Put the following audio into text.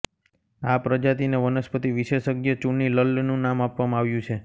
આ પ્રજાતિને વનસ્પતિ વિશેષજ્ઞ ચુનિલલ્નું નામ આપવામાં આવ્યું છે